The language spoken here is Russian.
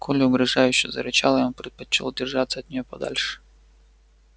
колли угрожающе зарычала и он предпочёл держаться от неё подальше